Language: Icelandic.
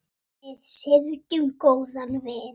Við syrgjum góðan vin.